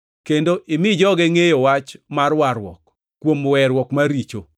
kendo imi joge ngʼeyo wach mar warruok kuom weruok mar richogi,